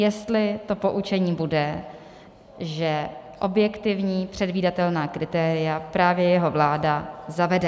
Jestli to poučení bude, že objektivní předvídatelná kritéria právě jeho vláda zavede.